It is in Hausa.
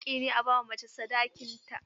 Haƙƙi ne a ba macen sadakin ta.